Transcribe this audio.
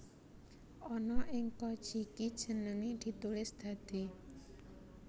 Ana ing Kojiki jenenge ditulis dadi